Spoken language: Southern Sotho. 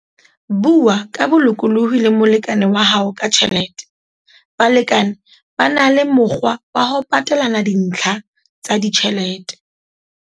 Bua ka bolokolohi le molekane wa hao ka tjhelete - Balekane ba na le mokgwa wa ho patelana dintlha tsa ditjhelete.